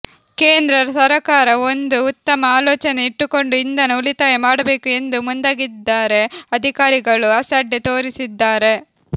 ಕೇಂದ್ರ ಸರಕಾರ ಒಂದು ಉತ್ತಮ ಆಲೋಚನೆ ಇಟ್ಟುಕೊಂಡು ಇಂಧನ ಉಳಿತಾಯ ಮಾಡಬೇಕು ಎಂದು ಮುಂದಾಗಿದ್ದರೆ ಅಧಿಕಾರಿಗಳು ಅಸಡ್ಡೆ ತೋರಿಸಿದ್ದಾರೆ